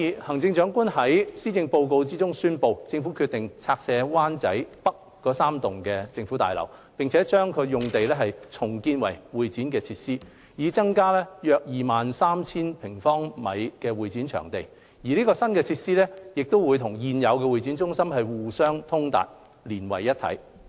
行政長官在施政報告中宣布，政府決定拆卸灣仔北3座政府大樓，把用地重建為會展設施，以增加約 23,000 平方米的會展場地。新設施會與現有會展中心互相通達，連為一體。